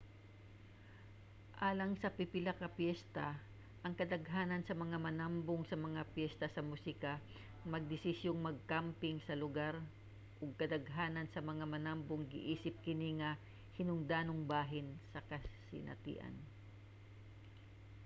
alang sa pipila ka piyesta ang kadaghanan sa mga nanambong sa mga piyesta sa musika magdesisyong magkamping sa lugar ug kadaghanan sa mga nanambong giisip kini nga hinungdanong bahin sa kasinatian